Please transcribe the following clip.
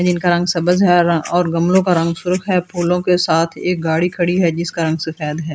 जिनका रंग सब्ज है और गमलों का रंग सुर्ख है फूलों के साथ एक गाड़ी खड़ी है जिसका रंग सफेद है।